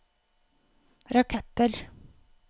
raketter